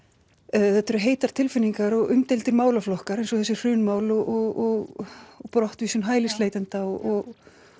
þetta eru heitar tilfinningar og umdeildir málaflokkar eins og þessi hrun mál og brottvísun hælisleitenda og